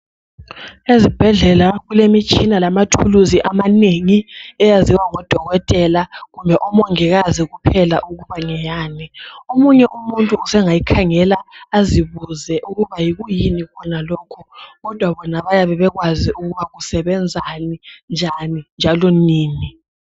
Ezibhedlela kulemitshina lamathuluzi amanengi eyaziwa ngodokotela kumbe omongikazi kuphela ukuba ngeyani. Omunye umuntu usengayikhangela azibuze ukuba yikuyini khona lokhu kodwa bona bayabe bekwazi ukuba kusebenzani, njani njalo nini